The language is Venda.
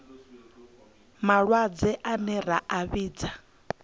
malwadze ane ra a vhidza